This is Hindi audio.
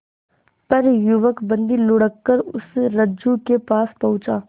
पर युवक बंदी ढुलककर उस रज्जु के पास पहुंचा